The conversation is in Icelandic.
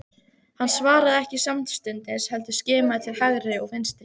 Hann svaraði ekki samstundis heldur skimaði til hægri og vinstri.